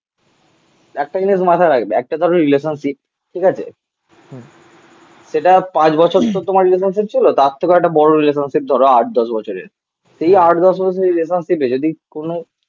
একটা জিনিস মাথায় রাখবি. একটা তোর রিলেশনশিপ. ঠিক আছে? সেটা পাঁচ বছর তো তোমার রিলেশনশিপ ছিল. তার থেকেও একটা বড় রিলেশনশিপ ধরো আট দশ বছরের সেই আট দশ বছরের রিলেশনশিপ এ যদি কোনো